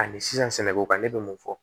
Ani sisan sɛnɛko kan ne bɛ mun fɔ